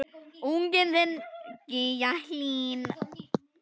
Unginn þinn, Gígja Hlín.